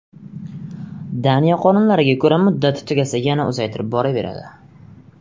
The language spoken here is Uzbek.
Daniya qonunlariga ko‘ra, muddati tugasa yana uzaytirib boraveradi.